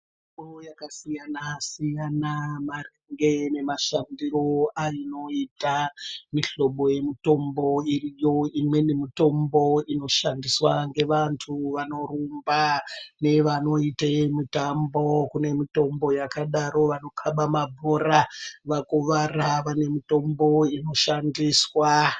Mitombo yakasiyana siyana maringe nemashandiro ainoita mihlobo yemitombo iriyo. Imweni mitombo inoshandiswa nevantu vanorumba nevanoita mitambo kune mitombo yakadaro vanokaba mabhora vakuwara mitombo inoshandiswa.